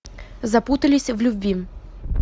запутались в любви